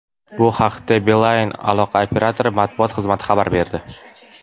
Bu haqda Beeline aloqa operatori matbuot xizmati xabar berdi.